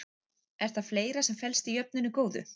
En það er fleira sem felst í jöfnunni góðu.